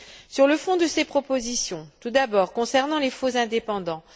Sur le fond de ces propositions, tout d'abord, concernant les faux indépendants.